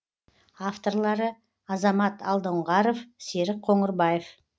авторлары азамат алдоңғаров серік қоңырбаев